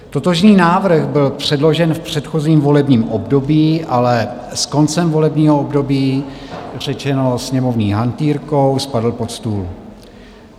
Totožný návrh byl předložen v předchozím volebním období, ale s koncem volebního období řečeno sněmovní hantýrkou: spadl pod stůl.